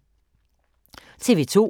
TV 2